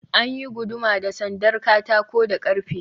An yi guduma da sandar katako da ƙarfe.